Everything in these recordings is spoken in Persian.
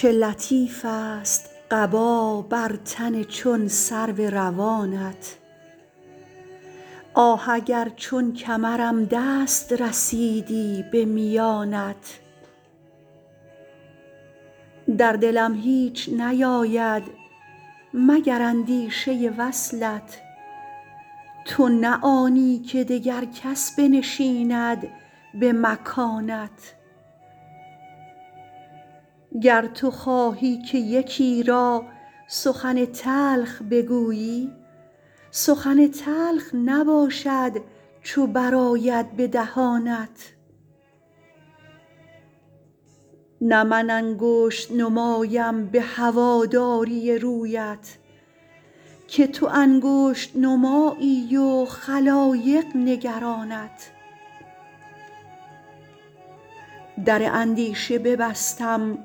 چه لطیفست قبا بر تن چون سرو روانت آه اگر چون کمرم دست رسیدی به میانت در دلم هیچ نیاید مگر اندیشه وصلت تو نه آنی که دگر کس بنشیند به مکانت گر تو خواهی که یکی را سخن تلخ بگویی سخن تلخ نباشد چو برآید به دهانت نه من انگشت نمایم به هواداری رویت که تو انگشت نمایی و خلایق نگرانت در اندیشه ببستم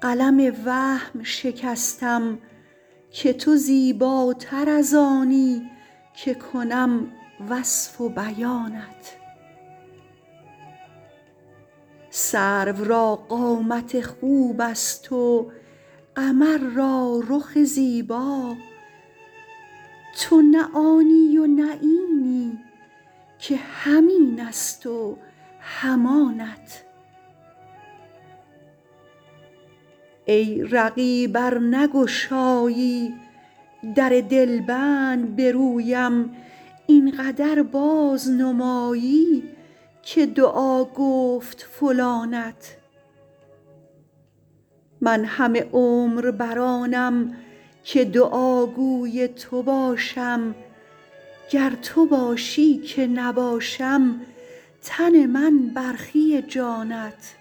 قلم وهم شکستم که تو زیباتر از آنی که کنم وصف و بیانت سرو را قامت خوبست و قمر را رخ زیبا تو نه آنی و نه اینی که هم اینست و هم آنت ای رقیب ار نگشایی در دلبند به رویم این قدر بازنمایی که دعا گفت فلانت من همه عمر بر آنم که دعاگوی تو باشم گر تو خواهی که نباشم تن من برخی جانت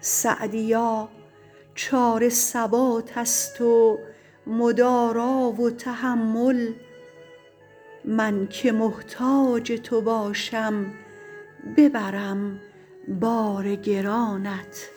سعدیا چاره ثباتست و مدارا و تحمل من که محتاج تو باشم ببرم بار گرانت